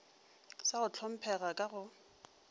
sa go hlomphega ka go